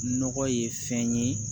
Nɔgɔ ye fɛn ye